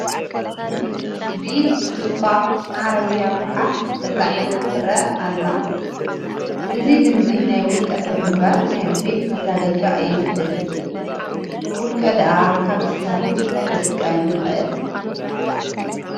ብኢድ ትድፋእ ዓረብያ ጐሓፍ ተፃዒና ትርአ ኣሎ፡፡ እዚ ልምዲ ናይ ውልቀ ሰብ እምበር ናይ ቤት ማዘጋጃ ኣይመስልን፡፡ ውልቀ ድኣ ካብዚ ስራሕ እንታይ ክጥቀም ይኽእል?